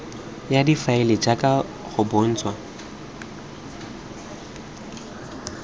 ya difaele jaaka go bontshitswe